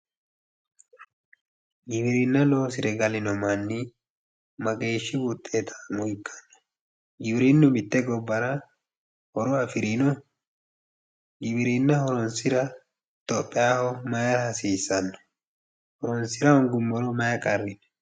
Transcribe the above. Giwirinna loosire gallino manni mageeshshi wuxettammo ikkano, giwirinu mite gobbara horo afirino, giwirinna horonsira itophiyaho mayra hasiisano ,horonsira hoonguummoro mayi qarri no ?